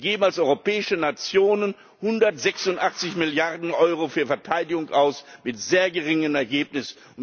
Wir geben als europäische Nationen 186 Milliarden Euro für Verteidigung aus mit sehr geringem Ergebnis.